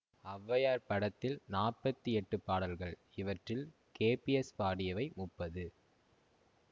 ஒளவையார் படத்தில் நாற்பத்தி எட்டு பாடல்கள் இவற்றில் கேபிஎஸ் பாடியவை முப்பது